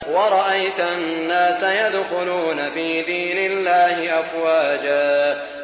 وَرَأَيْتَ النَّاسَ يَدْخُلُونَ فِي دِينِ اللَّهِ أَفْوَاجًا